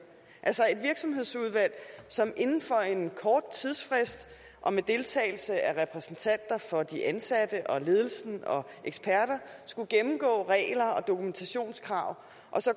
altså et virksomhedsudvalg som inden for en kort tidsfrist og med deltagelse af repræsentanter for de ansatte og ledelsen og eksperter skulle gennemgå regler og dokumentationskrav og